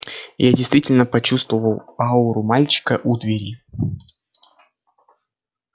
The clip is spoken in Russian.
я действительно почувствовал ауру мальчика у двери